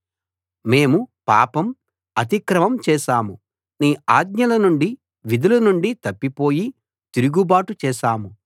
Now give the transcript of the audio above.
మేము పాపం అతిక్రమం చేశాము నీ ఆజ్ఞల నుండి విధుల నుండి తప్పి పోయి తిరుగుబాటు చేశాము